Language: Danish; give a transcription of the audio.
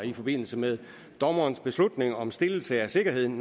i forbindelse med dommerens beslutning om stillelse af sikkerheden